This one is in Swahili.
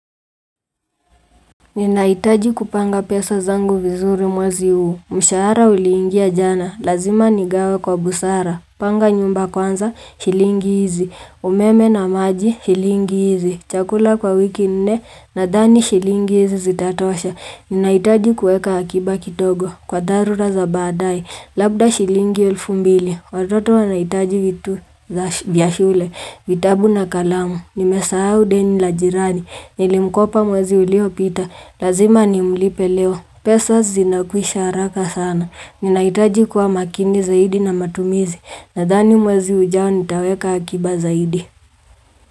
Ninahitaji kupanga pesa zangu vizuri mwezi huu. Mshahara uliingia jana. Lazima nigawe kwa busara. Panga nyumba kwanza. Shilingi hizi. Umeme na maji. Shilingi hizi. Chakula kwa wiki nne. Nadhani shilingi hizi zitatoasha. Ninahitaji kuweka akiba kidogo. Kwa dharura za baadae. Labda shilingi elfu mbili. Watoto wanahitaji kitu za vya shule. Vitabu na kalamu. Nimesahau deni la jirani. Nilimkopa mwezi uliopita. Lazima ni mlipe leo. Pesa zinakwisha haraka sana. Ninahitaji kuwa makini zaidi na matumizi. Nadhani mwezi ujao nitaweka akiba zaidi.